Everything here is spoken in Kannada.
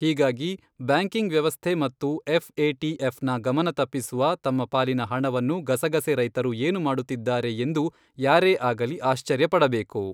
ಹೀಗಾಗಿ, ಬ್ಯಾಂಕಿಂಗ್ ವ್ಯವಸ್ಥೆ ಮತ್ತು ಎಫ್ಎಟಿಎಫ್ನ ಗಮನ ತಪ್ಪಿಸುವ ತಮ್ಮ ಪಾಲಿನ ಹಣವನ್ನು ಗಸಗಸೆ ರೈತರು ಏನು ಮಾಡುತ್ತಿದ್ದಾರೆ ಎಂದು ಯಾರೇ ಆಗಲಿ ಆಶ್ಚರ್ಯಪಡಬೇಕು.